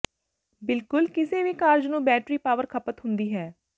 ਬਿਲਕੁਲ ਕਿਸੇ ਵੀ ਕਾਰਜ ਨੂੰ ਬੈਟਰੀ ਪਾਵਰ ਖਪਤ ਹੁੰਦੀ ਹੈ